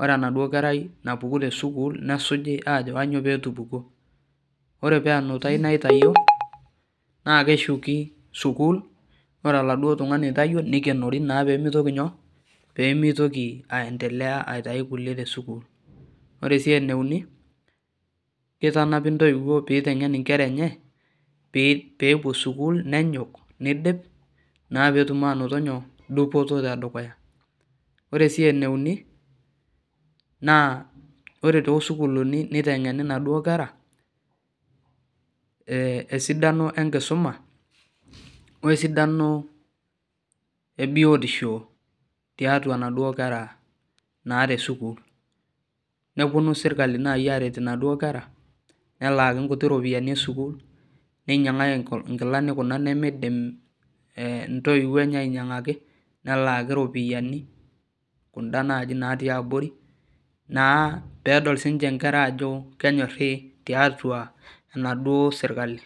oore enaduo kerai natupukuo te sukuul nesuji aajo kanyoo peyie etupukuo. Oore paa enutai naitawuo naa keshuki sukuul oore oladuo tung'ani oitawuo naa keikenori peyie meitoki aitau inkulie te sukul. Oore sii eneuni keitanapi intoiwuo pee keiteng'en inkera eenye, pee epuo sukuul nenyok neidip, naa peyie etum anoto inyoo? Dupoto te dukuya. Oore sii eneuni naa oor too sukuulini neiteng'eni inaduo keera, esidano enkisuma, wesidano e biotisho tiatua inaduoo kera naa te sukuul. Neponu serkali aret naa inaduo kera nelaaki iropiyiani e sukuul, neinyiang'aki inkilani kuna nemeidim intoiwuo eeye aiynyiang'aki, nelaki iropiyiani kun'da natii abori, peyie edol aajo kenyori serkali.